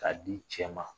K'a di cɛ ma